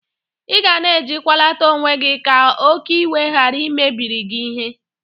Ị ga na-ejikwalata onwe gị ka oke iwe gara imebiri gị ihe.